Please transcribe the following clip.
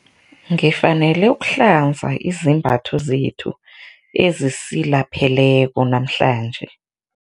Ngifanele ukuhlanza izembatho zethu ezisilapheleko namhlanje.